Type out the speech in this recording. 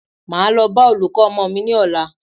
Máa lọ bá olùkọ́ ọmọ mí ní ọ̀la.